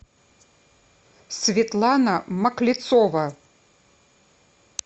светлана маклецова